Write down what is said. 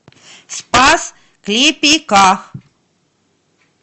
спас клепиках